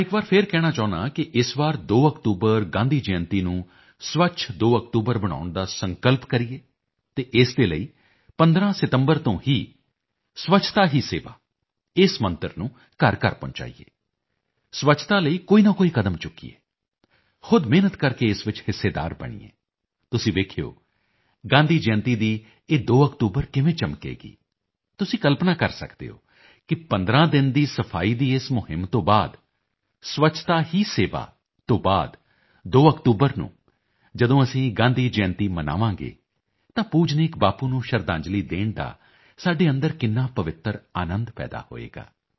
ਮੈਂ ਇੱਕ ਵਾਰ ਫਿਰ ਕਹਿਣਾ ਚਾਹੁੰਦਾ ਹਾਂ ਕਿ ਇਸ ਵਾਰ 2 ਅਕਤੂਬਰ ਗਾਂਧੀ ਜਯੰਤੀ ਨੂੰ ਸਵੱਛ 2 ਅਕਤੂਬਰ ਬਣਾਉਣ ਦਾ ਸੰਕਲਪ ਕਰੀਏ ਅਤੇ ਇਸ ਦੇ ਲਈ 15 ਸਤੰਬਰ ਤੋਂ ਹੀ ਸਵੱਛਤਾ ਹੀ ਸੇਵਾ ਇਸ ਮੰਤਰ ਨੂੰ ਘਰਘਰ ਪਹੁੰਚਾਈਏ ਸਵੱਛਤਾ ਲਈ ਕੋਈ ਨਾ ਕੋਈ ਕਦਮ ਚੁੱਕੀਏ ਖੁਦ ਮਿਹਨਤ ਕਰਕੇ ਇਸ ਵਿੱਚ ਹਿੱਸੇਦਾਰ ਬਣੀਏ ਤੁਸੀਂ ਵੇਖਿਓ ਗਾਂਧੀ ਜਯੰਤੀ ਦੀ ਇਹ 2 ਅਕਤੂਬਰ ਕਿਵੇਂ ਚਮਕੇਗੀ ਤੁਸੀਂ ਕਲਪਨਾ ਕਰ ਸਕਦੇ ਹੋ ਕਿ 15 ਦਿਨ ਦੀ ਸਫਾਈ ਦੀ ਇਸ ਮੁਹਿੰਮ ਤੋਂ ਬਾਅਦ ਸਵੱਛਤਾ ਹੀ ਸੇਵਾ ਤੋਂ ਬਾਅਦ 2 ਅਕਤੂਬਰ ਨੂੰ ਜਦੋਂ ਅਸੀਂ ਗਾਂਧੀ ਜਯੰਤੀ ਮਨਾਵਾਂਗੇ ਤਾਂ ਪੂਜਨੀਕ ਬਾਪੂ ਨੂੰ ਸ਼ਰਧਾਂਜਲੀ ਦੇਣ ਦਾ ਸਾਡੇ ਅੰਦਰ ਇੱਕ ਕਿੰਨਾ ਪਵਿੱਤਰ ਆਨੰਦ ਪੈਦਾ ਹੋਵੇਗਾ